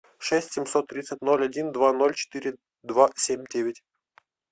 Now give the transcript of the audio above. шесть семьсот тридцать ноль один два ноль четыре два семь девять